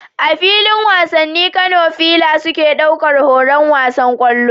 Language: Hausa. A filin wasanni, Kano fila suke ɗaukar horon wasan kwallo